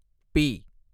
B